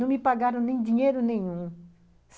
Não me pagaram nem dinheiro nenhum.